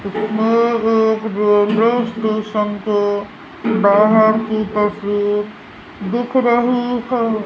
इसमे एक railway station के बाहर की तस्वीर दिख रही है।